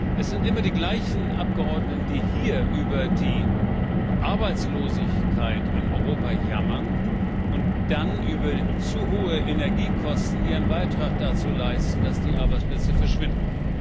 Es sind immer die gleichen Abgeordneten, die hier über die Arbeitslosigkeit in Europa jammern und dann über zu hohe Energiekosten ihren Beitrag dazu leisten, dass die Arbeitsplätze verschwinden.